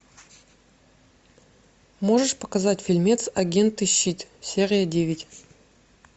можешь показать фильмец агенты щит серия девять